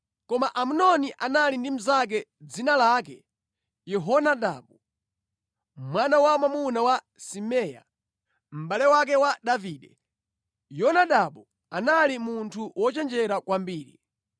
Koma Amnoni anali ndi mnzake dzina lake Yehonadabu mwana wamwamuna wa Simea, mʼbale wake wa Davide. Yonadabu anali munthu wochenjera kwambiri.